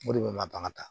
O de bɛ madamu ka taa